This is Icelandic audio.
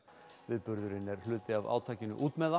viðburðurinn er hluti af átakinu